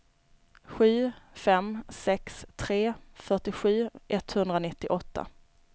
sju fem sex tre fyrtiosju etthundranittioåtta